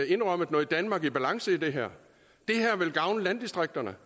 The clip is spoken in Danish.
indrømmet noget danmark i balance i det her det her vil gavne landdistrikterne